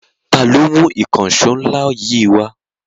Ta ló mú ìkànṣọ́ ńlá yìí wá?